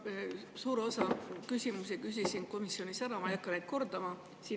Ma suure osa küsimusi küsisin juba komisjonis ära, ma ei hakka neid kordama.